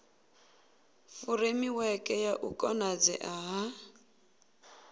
furemiweke ya u konadzea ha